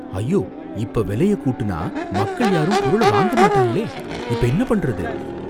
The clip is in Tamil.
ஐயோ! இப்ப விலையக் கூட்டுனா மக்கள் யாரும் பொருள வாங்கமாட்டாங்களே, இப்ப என்ன பண்றது?